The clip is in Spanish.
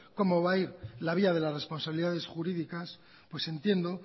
como va ir la vía de la responsabilidades jurídicas pues entiendo